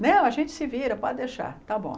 Não, a gente se vira, pode deixar, está bom.